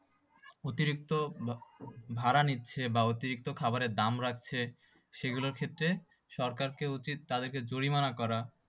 অতিরিক্ত ভা~ ভাড়া নিচ্ছে বা অতিরিক্ত খাবারে দাম রাখছে, সেই গুলোর ক্ষেত্রে সরকারকে উচিত তাদেরকে জরিমানা করা।